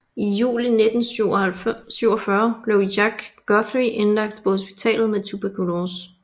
I juli 1947 blev Jack Guthrie indlagt på hospitalet med tuberkulose